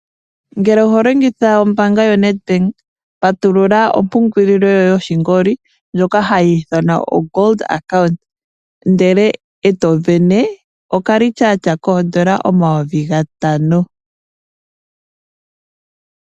Ngele oho longitha ombaanga yoNedbank patulula ompungulilo yoye yoshingoli ndjoka hayi ithanwa o Gold Account, ndele etovene okalityatya koondola omayovi gatano.